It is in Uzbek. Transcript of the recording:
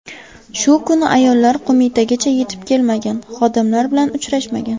Shu kuni ayollar Qo‘mitagacha yetib kelmagan, xodimlar bilan uchrashmagan.